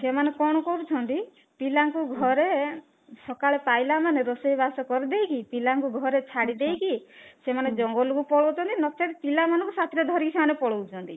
ସେମାନେ କଣ କରୁଛନ୍ତି ପିଲାଙ୍କୁ ଘରେ ସକାଳେ ପାଇଲା ମାନେ ରୋଷେଇ ବାସ କରିଦେଇ କି ପିଲାଙ୍କୁ ଘରେ ଛାଡିଦେଇକି ସେମାନେ ଜଙ୍ଗଲ କୁ ପଳଉଛନ୍ତି ନଚେତ ପିଲା ମାନଙ୍କୁ ସାଥିରେ ଧରି ସେମାନେ ପଳଉଛନ୍ତି